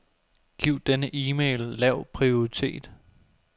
Giv denne e-mail lav prioritet.